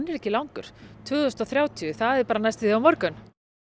ekki langur tvö þúsund og þrjátíu það er bara næstum því á morgun